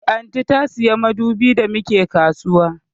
Eh, Aunty ta siya madubin da mu ke kasuwa